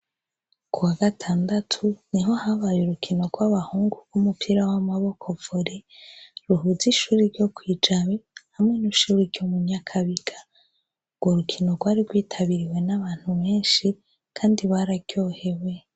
Ku wagatandatu, niho habaye urukino rw'abahungu rw'umupira w'amaboko vori, ruhuza'ishuri ryo kwi Jabe hamwe n'ishuri ryo mu Nyakabiga. Urwo rukino rwari rwitabiriwe n'abantu benshi kandi bararyohewe.